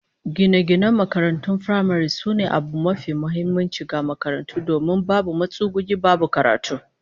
Gine-ginen makarantar firamare sune abu mafi muhimmanci ga makarantar domin in babu matsuguni, babu karatu